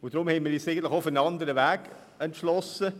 Deshalb haben wir uns für einen anderen Weg entschieden.